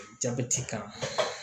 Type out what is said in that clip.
Jabɛti kan